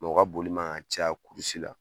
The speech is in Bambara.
u ka boli man ka caya la